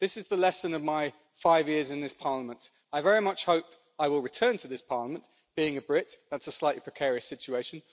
This is the lesson of my five years in this Parliament, I very much hope I will return to this Parliament, being a Brit, that's a slightly precarious situation.